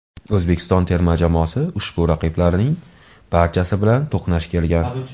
O‘zbekiston terma jamoasi ushbu raqiblarning barchasi bilan to‘qnash kelgan.